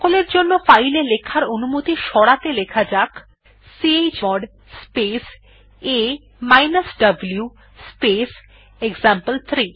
সকলের জন্য ফাইল এ লেখার অনুমতি সরাতে লেখা যাক chmod space a U space example three